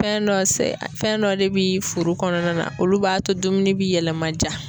Fɛn dɔ fɛn dɔ sɛ fɛn dɔ de bi furu kɔnɔna na olu b'a to dumuni bi yɛlɛma ja